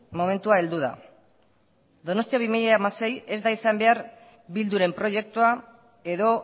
momentua heldu da donostia bi mila hamasei ez da izan behar bilduren proiektua edo